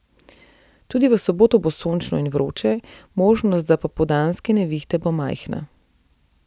Tudi v soboto bo sončno in vroče, možnost za popoldanske nevihte bo majhna.